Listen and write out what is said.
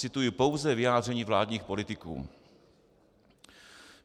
Cituji pouze vyjádření vládních politiků.